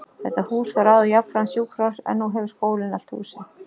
Þetta hús var áður jafnframt sjúkrahús, en nú hefur skólinn allt húsið.